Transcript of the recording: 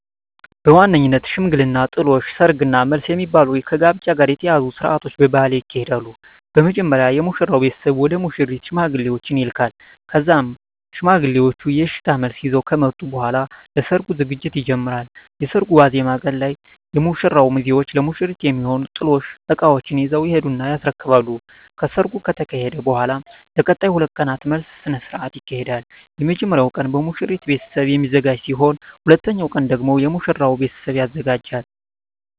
በዋነኝነት ሽምግልና፣ ጥሎሽ፣ ሰርግ እና መልስ የሚባሉ ከጋብቻ ጋር የተያያዙ ስርአቶች በባህሌ ይካሄዳሉ። በመጀመሪያ የሙሽራው ቤተሰብ ወደ ሙሽሪት ሽማግሌዎችን ይልካል ከዛም ሽማግሌዎቹ የእሽታ መልስ ይዘው ከመጡ በኃላ ለሰርጉ ዝግጅት ይጀመራል። የሰርጉ ዋዜማ ቀን ላይ የሙሽራው ሚዜዎች ለሙሽሪት የሚሆኑ የጥሎሽ እቃዎችን ይዘው ይሄዱና ያስረክባሉ። ከሰርጉ ከተካሄደ በኃላም ለቀጣይ 2 ቀናት መልስ ስነ ስርዓት ይካሄዳል። የመጀመሪያው ቀን በሙሽሪት ቤተሰብ የሚዘጋጅ ሲሆን ሁለተኛው ቀን ደግሞ የሙሽራው ቤተሰብ ያዘጋጃል።